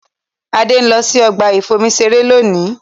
Adé ń lọ sí ọgbà ìfomi-iṣeré lónìí.